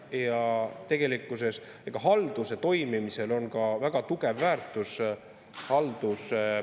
Ja tegelikkuses on halduse toimimisel väga tugev väärtus.